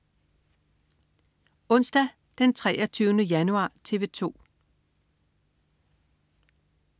Onsdag den 23. januar - TV 2: